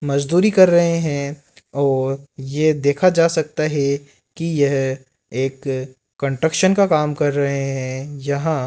मजदूरी कर रहे हैं और ये देखा जा सकता है कि यह एक कंस्ट्रक्शन का काम कर रहे हैं जहां --